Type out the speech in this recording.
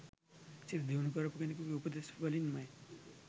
සිත දියුණු කරපු කෙනෙකුගේ උපදෙස් වලින්මයි.